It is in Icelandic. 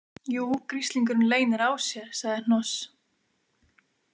Jú, gríslingurinn leynir á sér, sagði Hnoss.